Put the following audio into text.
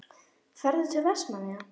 Ferðu til Vestmannaeyja?